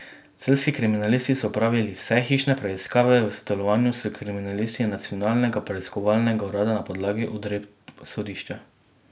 Celjski kriminalisti so opravili vse hišne preiskave v sodelovanju s kriminalisti Nacionalnega preiskovalnega urada na podlagi odredb sodišča.